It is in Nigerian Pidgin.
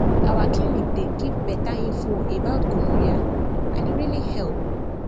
our clinic dey give better info about gonorrhea and e really help